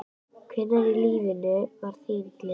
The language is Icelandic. Hvenær í lífinu var þín gleðistund?